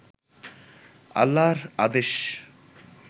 আল্লাহর আদেশ